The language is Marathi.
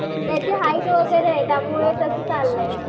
त्याची हाईट वगैरे आहे त्यामुळे त्याचं चाललंय.